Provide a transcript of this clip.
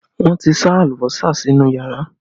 Wọn ti sá alùbọ́sà sínú yàrá